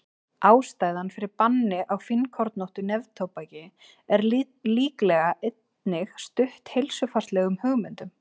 ástæðan fyrir banni á fínkornóttu neftóbaki er líklega einnig stutt heilsufarslegum hugmyndum